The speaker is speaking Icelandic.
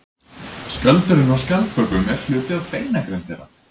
Skjöldurinn á skjaldbökum er hluti af beinagrind þeirra.